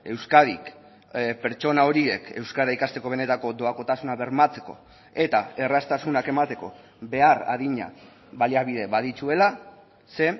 euskadik pertsona horiek euskara ikasteko benetako doakotasuna bermatzeko eta erraztasunak emateko behar adina baliabide badituela ze